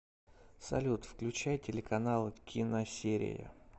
салют включай телеканал киносерия